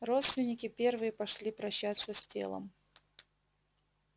родственники первые пошли прощаться с телом